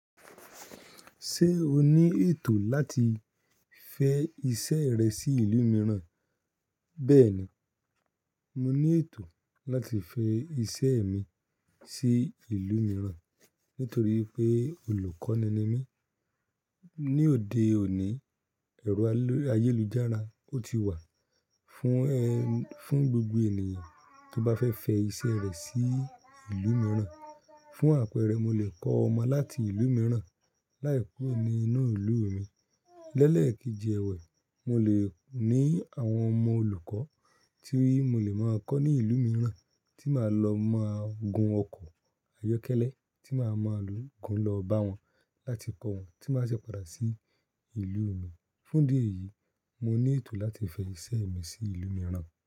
Ṣé o ní ètò láti fẹ iṣẹ́ rẹ sí ìlú mìíràn? Bẹ́ẹ̀ni, mo ní ètò láti fẹ iṣẹ́ mi sí ìlú mìíràn nítorí pé olùkọ́ ni mí. Ni òde òní, ẹ̀rọ ayélujára o ti wà fún ẹ, fún gbogbo ènìyàn tó bá fẹ́ fẹ iṣẹ́ rẹ sí ìlú mìíràn. Fún àpẹẹrẹ, mo lè kọ́ ọmọ láti ìlú mìíràn láì ku ro ní inú ìlú mi. Lẹ́lẹ̀ kejì ẹwẹ̀, mo lè ní àwọn ọmọ olùkọ́ tí mo lè máa kọ́ ní ìlú mìíràn tí màá lọ máa gun ọkọ̀ ayọ́kẹ́lẹ́ tí màá máa lo gun lọ bá wọn láti kọ́ wọn tí wọ́n bá ṣe padà sí ìlú mi. Fún ìdí eyìí, mo ní ètò láti fẹ iṣẹ́ mi sí ìlú mìíràn.